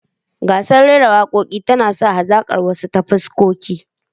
Gasar rera waka tana sa hazakar wasu ta haskaka.